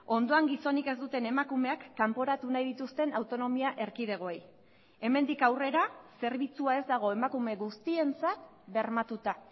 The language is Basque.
ondoan gizonik ez duten emakumeak kanporatu nahi dituzten autonomia erkidegoei hemendik aurrera zerbitzua ez dago emakume guztientzat bermatuta